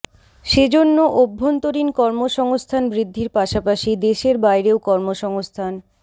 সে জন্য অভ্যন্তরীণ কর্মসংস্থান বৃদ্ধির পাশাপাশি দেশের বাইরেও কর্মসংস্থান